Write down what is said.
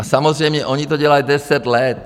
A samozřejmě oni to dělají deset let.